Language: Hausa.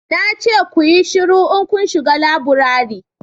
na ce ku yi shiru in kun shiga laburare